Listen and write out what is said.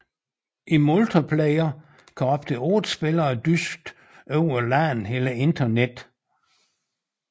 I multiplayer kan op til otte spillere dyste over LAN eller Internet